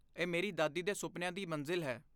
ਇਹ ਮੇਰੀ ਦਾਦੀ ਦੇ ਸੁਪਨਿਆਂ ਦੀ ਮੰਜ਼ਿਲ ਹੈ।